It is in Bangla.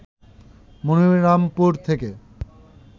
মনিরামপুর থেকে